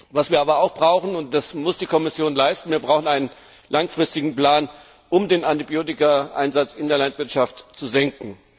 Was wir aber auch brauchen und das muss die Kommission leisten das ist ein langfristiger Plan, um den Antibiotikaeinsatz in der Landwirtschaft zu senken.